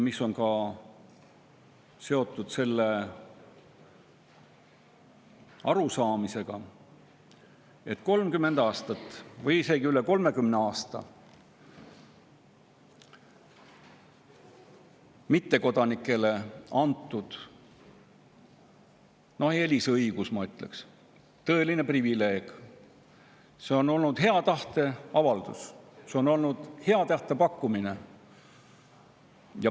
See on seotud ka selle arusaamisega, et 30 aasta eest või isegi üle 30 aasta tagasi mittekodanikele antud eelisõigus, ma ütleks, et tõeline privileeg, on olnud hea tahte avaldus, see on olnud hea tahte pakkumine.